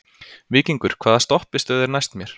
Víkingur, hvaða stoppistöð er næst mér?